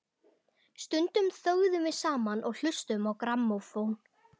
Stundum þögðum við saman og hlustuðum á grammófón.